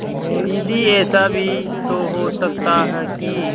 दीदी ऐसा भी तो हो सकता है कि